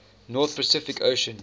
north pacific ocean